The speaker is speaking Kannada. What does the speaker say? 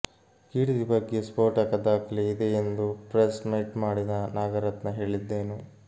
ಕೀರ್ತಿ ಬಗ್ಗೆ ಸ್ಫೋಟಕ ದಾಖಲೆಯಿದೆ ಎಂದು ಪ್ರೆಸ್ ಮೀಟ್ ಮಾಡಿದ ನಾಗರತ್ನ ಹೇಳಿದ್ದೇನು